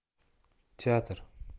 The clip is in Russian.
театр